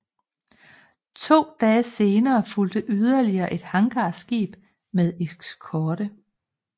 To dage senere fulgte yderligere et hangarskib med eskorte